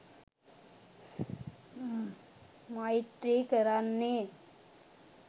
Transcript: මෛත්‍රී කරන්නේ